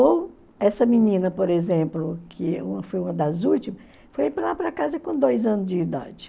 Ou essa menina, por exemplo, que foi uma das últimas, foi lá para casa com dois anos de idade.